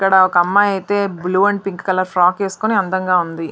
ఇక్కడ ఒక అమ్మాయి ఐతే blue and pink colour frock వేసుకొని అందంగా ఉన్నది.